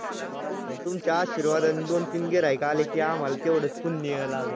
आणि तुमच्या आशीर्वादाने दोन तीन गिर्हाईक आले की आम्हाला तेवढंच पुण्य लागल.